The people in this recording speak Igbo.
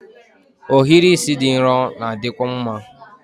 Ohiri isi dị nro na-adịkwu mma